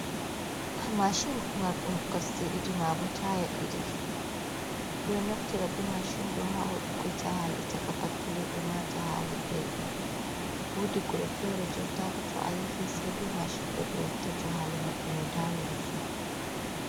Mashin mardum kosde didi mabo taya didi be do naftira bi mashindo hawadu jahale ha caka pattule ema jahale daidum wudi wuro fere jonta haka to a yehi se be mashindo be watta jahale mabbe no dayiri fu.